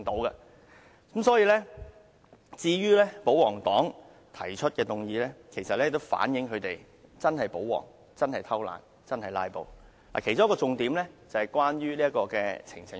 因此，保皇黨提出的議案，其實反映出他們是真保皇，真躲懶，真"拉布"，而其中一個重點是關於呈請書。